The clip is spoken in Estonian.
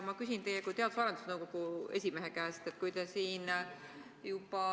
Ma küsin teie kui Teadus- ja Arendusnõukogu esimehe käest.